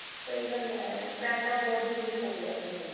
ਸਹੀ ਗੱਲ ਹੈ ਪੈਸਾ ਬਹੁਤ ਜਰੂਰੀ ਹੋਗਿਆ ਆਪਣੇ ਲਈ